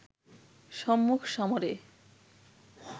সম্মুখ সমরে